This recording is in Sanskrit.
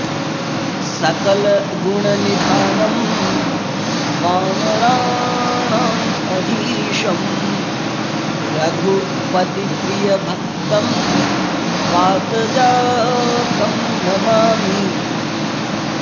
सकल गुण निधानं वानराणां अधीशम् रघुपति प्रिय भक्तं वात जातं नमामि